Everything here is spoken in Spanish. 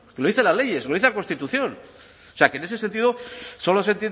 lo dice la ley eso lo dice la constitución o sea que en ese sentido solo se